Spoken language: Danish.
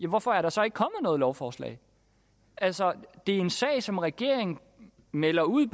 hvorfor er der så ikke kommet noget lovforslag altså det er en sag som regeringen melder ud